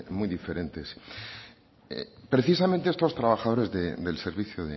muy diferentes precisamente estos trabajadores del servicio